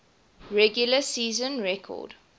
regular season record